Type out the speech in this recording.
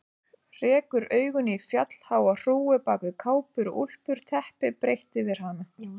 Rekur augun í fjallháa hrúgu bak við kápur og úlpur, teppi breitt yfir hana.